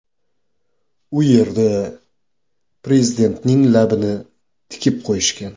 U yerda prezidentning labini tikib qo‘yishgan.